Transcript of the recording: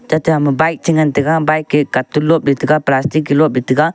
tata ham ma bike che ngan tega bike e cartoon lop e tega plastic lop tega.